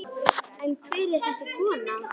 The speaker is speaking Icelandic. En hver er þessi kona?